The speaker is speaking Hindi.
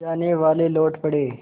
जानेवाले लौट पड़े